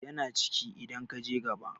yana ciki idan ka je gaba